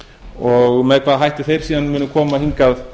og með hvaða hætti þeir síðan munu koma hingað